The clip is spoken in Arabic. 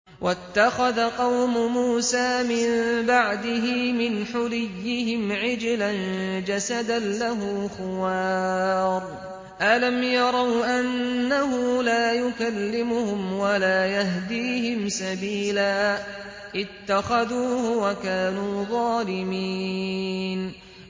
وَاتَّخَذَ قَوْمُ مُوسَىٰ مِن بَعْدِهِ مِنْ حُلِيِّهِمْ عِجْلًا جَسَدًا لَّهُ خُوَارٌ ۚ أَلَمْ يَرَوْا أَنَّهُ لَا يُكَلِّمُهُمْ وَلَا يَهْدِيهِمْ سَبِيلًا ۘ اتَّخَذُوهُ وَكَانُوا ظَالِمِينَ